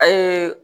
A ye